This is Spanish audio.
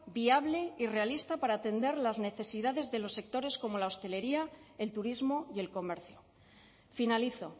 viable y realista para atender las necesidades de los sectores como la hostelería el turismo y el comercio finalizo